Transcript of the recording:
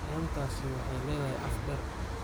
Inantaasi waxay leedahay af dheer